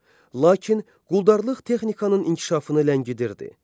Lakin quldarlıq texnikanın inkişafını ləngidirdi.